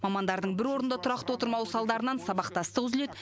мамандардың бір орында тұрақты отырмауы салдарынан сабақтастық үзіледі